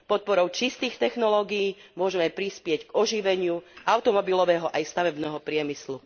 Podporou čistých technológií môžeme prispieť k oživeniu automobilového aj stavebného priemyslu.